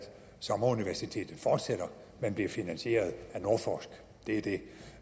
sommeruniversitetet fortsætter men bliver finansieret af nordforsk det er det